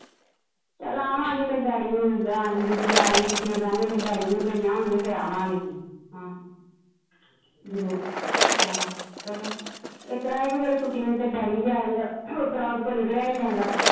ਚਲ ਆਵਾਗੇ ਤੇਰੇ ਡੈਡੀ ਨੂੰ ਜਾ ਕਿਤੇ ਯੁਵਰਾਜ ਨੂੰ ਛੁੱਟੀਆਂ ਪੈਣਗੀਆਂ ਤੇਰੇ ਡੈਡੀ ਨੂੰ ਵੀ ਪਈਆ ਹੋਣਗੀਆਂ ਫਿਰ ਆਵਾਂਗੇ ਅਸੀ ਆਹੋ ਆਹੋ ਚਲੋ ਇਸਤਰਾਂ ਇਹ ਕੇ ਫਿਰ ਛੁੱਟੀਆਂ ਚ ਤੇਰਾ ਡੈਡੀ ਵੀ ਆ ਜਾਂਦਾ ਉਸਤਰਾ ਓਦੇ ਕੋ ਨਿਕਲਿਆ ਨਹੀਂ ਜਾਂਦਾ।